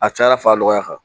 A caya fa nɔgɔya kan